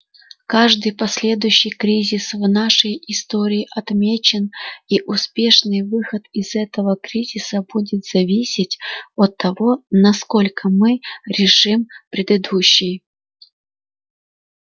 каждый последующий кризис в нашей истории отмечен и успешный выход из этого кризиса будет зависеть от того насколько мы решим предыдущий